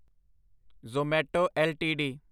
Zomato LTD